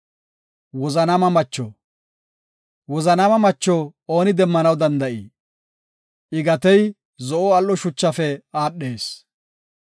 “Wozanaama macho ooni demmanaw danda7ii? I gatey zo7o al7o shuchafe aadhees.